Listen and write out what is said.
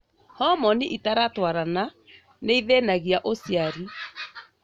Homoni itaratwarana nĩithĩnagia ũciari